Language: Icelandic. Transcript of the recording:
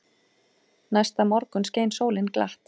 Næsta morgun skein sólin glatt.